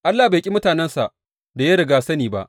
Allah bai ƙi mutanensa da ya rigya sani ba.